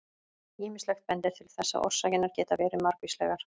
Ýmislegt bendir til þess að orsakirnar geti verið margvíslegar.